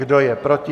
Kdo je proti?